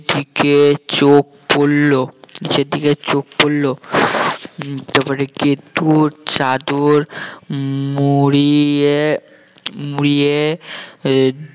দিকে চোখ পড়লো নিচের দিকে চোখ পড়লো উম তারপরে গেদু চাদর মুড়িয়ে মুড়িয়ে আহ